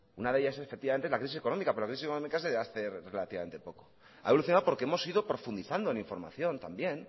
una de ellas es la crisis económica pero la crisis económica es de hace relativamente poco ha evolucionado porque hemos sido profundizando en información también